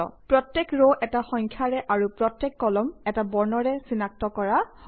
প্ৰত্যেক ৰ এটা সংখ্যাৰে আৰু প্ৰত্যেক কলাম এটা বৰ্ণৰে চিনাক্ত কৰা হয়